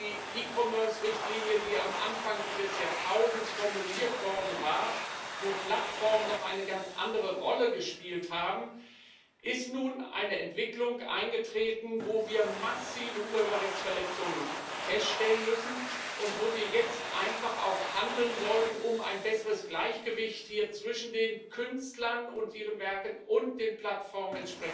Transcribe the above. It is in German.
Aber nach der E Commerce Richtlinie, die am Anfang des Jahrtausends formuliert wurde, als Plattformen noch eine ganz andere Rolle gespielt haben, ist nun eine Entwicklung eingetreten, wo wir massive Urheberrechtsverletzungen feststellen müssen und wo wir jetzt einfach auch handeln sollten, um ein besseres Gleichgewicht zwischen den Künstlern und ihren Werken und den Plattformen